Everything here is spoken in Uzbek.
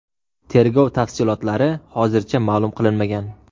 Tergov tafsilotlari hozircha ma’lum qilinmagan.